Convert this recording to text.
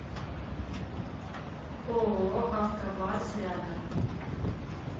ооо автобарс рядом